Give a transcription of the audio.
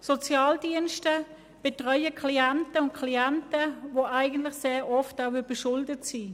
Die Sozialdienste betreuen Klientinnen und Klienten, die sehr oft überschuldet sind.